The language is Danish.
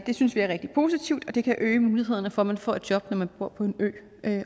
det synes vi er rigtig positivt og det kan øge mulighederne for at man får et job når man bor på en ø